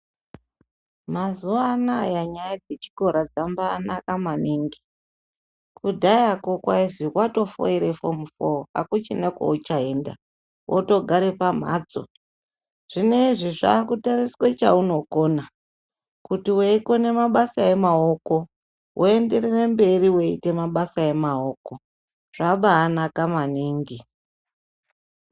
Mazuva anaya nyaya dzechikora dzambaanaka maningi, kudhayako kwaizi watofoira fomu 4 akuchina kwauchaenda wotogare pamhatso. Zvinezvi zvakutariswe chaunokona kuti. Weikona mabasa emaoko woenderere mberi weite mabasa emaoko zvabaanaka maningi